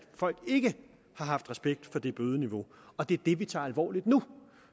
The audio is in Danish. folk ikke har haft respekt for det bødeniveau og det er det vi tager alvorligt nu